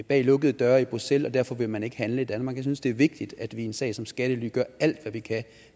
bag lukkede døre i bruxelles og derfor vil man ikke handle i danmark jeg synes det er vigtigt at vi i en sag som skattely gør alt hvad vi kan